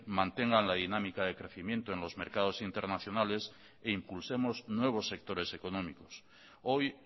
mantengan la dinámica de crecimiento en los mercados internacionales e impulsemos nuevos sectores económicos hoy